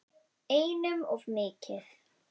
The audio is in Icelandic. Einum of mikið.